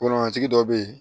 Kolomatigi dɔ bɛ yen